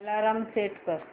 alarm set कर